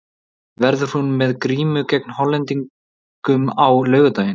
Verður hún með grímu gegn Hollendingum á laugardaginn?